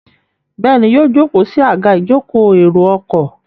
Béèni yíò joko sí Àga ìjókòó èrò ọkọ̀.